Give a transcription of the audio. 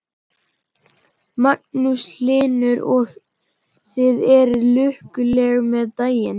Magnús Hlynur: Og þið eruð lukkuleg með daginn?